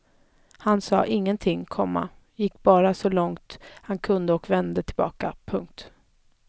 Han sa ingenting, komma gick bara så långt han kunde och vände tillbaka. punkt